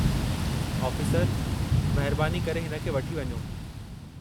आफ़ीसरु, महिरबानी करे हिन खे वठी वञो।